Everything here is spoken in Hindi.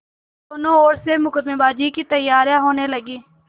दोनों ओर से मुकदमेबाजी की तैयारियॉँ होने लगीं